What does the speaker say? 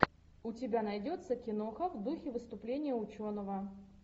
у тебя найдется киноха в духе выступления ученого